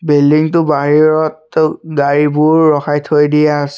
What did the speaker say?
Building টো বাহিৰত থৈ গাড়ীবোৰ ৰখাই থৈ দিয়া আছে।